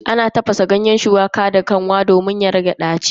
Ana tafasa ganyen shuwaka da kanwa domin ya rage ɗaci.